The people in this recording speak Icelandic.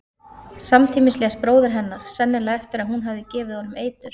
Samtímis lést bróðir hennar, sennilega eftir að hún hafði gefið honum eitur.